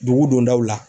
Dugu dondaw la